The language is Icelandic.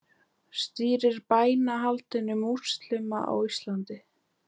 Stýrir bænahaldi múslíma á Íslandi